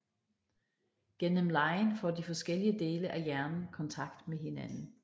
Gennem legen får de forskellige dele af hjernen kontakt med hinanden